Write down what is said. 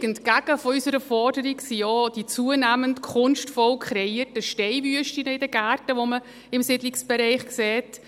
Völlig entgegen unserer Forderung sind auch die zunehmend kunstvoll kreierten Steinwüsten in den Gärten, die man im Siedlungsbereich sieht.